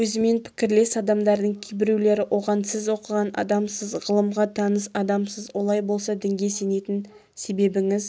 өзімен пікірлес адамдардың кейбіреулері оған сіз оқыған адамсыз ғылымға таныс адамсыз олай болса дінге сенетін себебіңіз